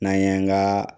N'an ye an ka